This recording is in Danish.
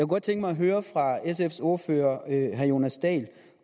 godt tænke mig at høre sfs ordfører herre jonas dahl